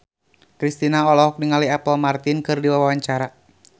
Kristina olohok ningali Apple Martin keur diwawancara